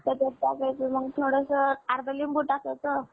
टाकायचं मग थोडसं अर्धा लिबु टाकायचं.